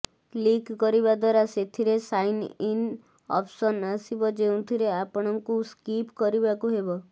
click କରିବା ଦ୍ୱାରା ସେଥିରେ ସାଇନ୍ ଇନ୍ ଅପ୍ସନ ଆସିବ ଯେଉଁଥିରେ ଆପଣଙ୍କୁ ସ୍କିପ କରିବାକୁ ହେବ